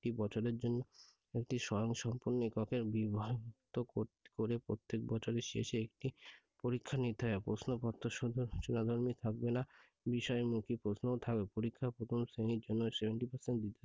বছরের জন্য একটি স্বয়ংসম্পূর্ণ এককে বিভক্ত করে প্রত্যেক বছরের শেষে একটি পরীক্ষা নিতে হবে প্রশ্ন পত্র রচনা ধর্মী থাকবেনা। বিষয় মুখী প্রশ্ন ও থাকবে। পরীক্ষায় প্রথম শ্রেণীর জন্য seventy percent দ্বিতীয়